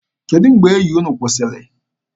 Kedụ mgbe enyi unu kwụsịrị?